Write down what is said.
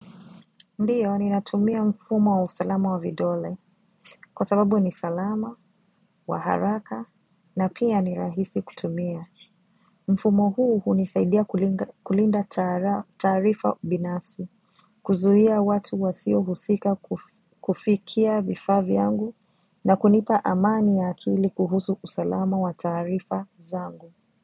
Ndiyo, ninatumia mfumo wa usalama wa vidole kwa sababu ni salama, wa haraka na pia ni rahisi kutumia. Mfumo huu hunisaidia kulinda taarifa binafsi, kuzuia watu wasio husika kufikia vifaa vyangu na kunipa amani ya akili kuhusu usalama wa taarifa zangu.